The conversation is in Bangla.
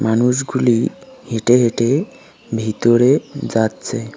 মানুষগুলি হেঁটে হেঁটে ভিতরে যাচ্ছে।